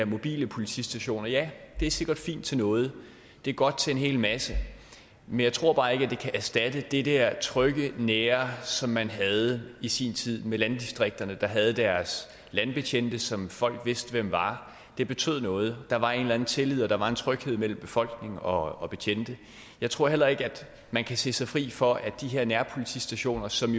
mobile politistationer ja det er sikkert fint til noget det er godt til en hel masse men jeg tror bare ikke at det kan erstatte det der trygge og nære som man havde i sin tid med landdistrikterne der havde deres landbetjente som folk vidste hvem var det betød noget der var en eller anden tillid og der var en tryghed mellem befolkning og betjente jeg tror heller ikke at man kan sige sig fri for at de her nærpolitistationer som